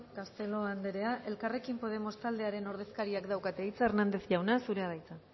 castelo andrea elkarrekin podemos taldearen ordezkariak daukate hitza hernández jauna zurea da hitza